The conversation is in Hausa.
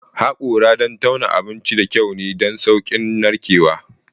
Haƙora don tauna abinci da kyau ne don sauƙin narkewa.